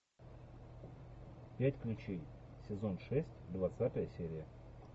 пять ключей сезон шесть двадцатая серия